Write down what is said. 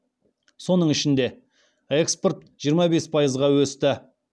соның ішінде экспорт жиырма бес пайызға өсті